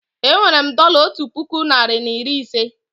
Enwere m dọla otu puku narị na iri ise